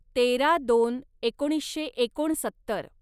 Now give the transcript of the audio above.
तेरा दोन एकोणीसशे एकोणसत्तर